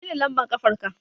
Menene lambar ƙafarka.